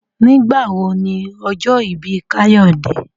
Nigbawo ni ojo ibi Kayode?